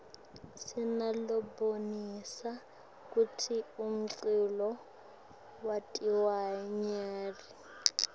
sinalabonisa kutsi umculo wentiwaryani